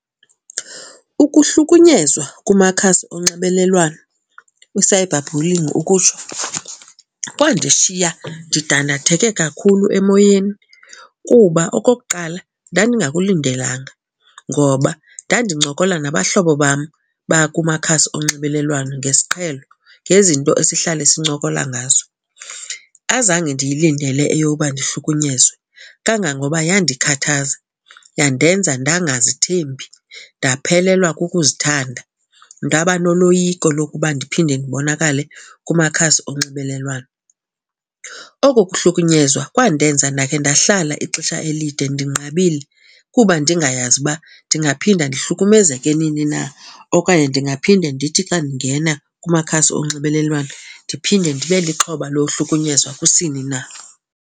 Ukuhlukunyezwa kumakhasi onxibelelwano, u-cyberbullying ukutsho, kwandishiya ndidandatheke kakhulu emoyeni. Kuba okokuqala, ndandingakulindelanga ngoba ndandincokola nabahlobo bam bakumakhasi onxibelelwano ngesiqhelo ngezinto esihlala sincokola ngazo. Azange ndiyilindele eyoba ndihlukunyezwe kangangoba yandikhathaza yandenza ndangazithembi ndaphelelwa kukuzithanda. Ndaba noloyiko lokuba ndiphinde ndibonakale kumakhasi onxibelelwano. Oko kuhlukunyezwa kwandenza ndakhe ndahlala ixesha elide ndinqabile kuba ndingayazi uba ndingaphinda ndihlukumezeke nini na okanye ndingaphinde ndithi xa ndingena kumakhasi onxibelelwano, ndiphinde ndibe lixhoba lohlukunyezwa kusini na.